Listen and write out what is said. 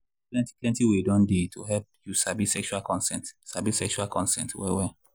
plenty plenty way don dey to help you sabi sexual consent sabi sexual consent well well.